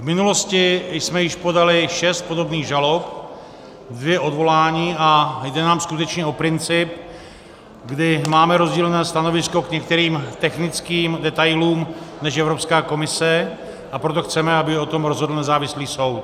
V minulosti jsme již podali šest podobných žalob, dvě odvolání a jde nám skutečně o princip, kdy máme rozdílné stanovisko k některým technickým detailům než Evropská komise, a proto chceme, aby o tom rozhodl nezávislý soud.